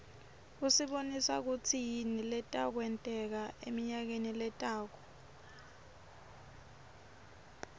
usibonisa kutsi yini leta wenteka emnayakeni lotako